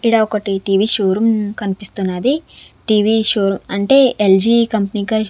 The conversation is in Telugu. ఈడ ఒకటి టీ_వి షోరూం కనిపిస్తున్నది టీ_వి షోర్-- అంటే ఎల్-జి కంపెనీ క--